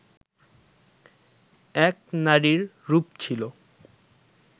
এক নারীর রূপ ছিল